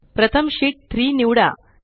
प्रथम शीत 3 निवडा